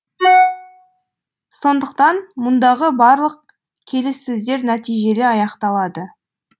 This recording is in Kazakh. сондықтан мұндағы барлық келіссөздер нәтижелі аяқталады